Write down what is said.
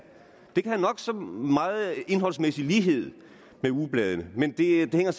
det kan have nok så meget indholdsmæssig lighed med ugebladene men det hænger